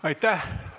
Aitäh!